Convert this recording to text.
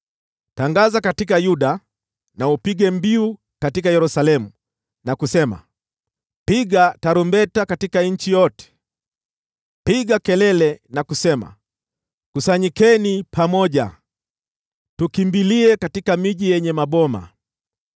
“Tangaza katika Yuda na upige mbiu katika Yerusalemu na kusema: ‘Piga tarumbeta katika nchi yote!’ Piga kelele na kusema: ‘Kusanyikeni pamoja! Tukimbilie katika miji yenye maboma!’